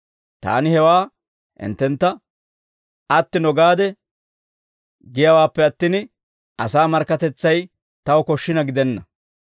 Taani hewaa hinttentta attino gaade giyaawaappe attin, asaa markkatetsay taw koshshina gidenna.